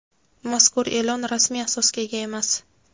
Mazkur e’lon rasmiy asosga ega emas.